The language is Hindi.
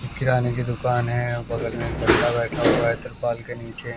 किराने की दुकान है। बगल में एक बंदा बैठा हुआ है तिरपाल के नीचे।